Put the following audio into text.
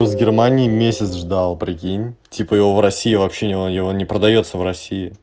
с германией месяц ждал прикинь типа его в россии вообще и он не продаётся в россии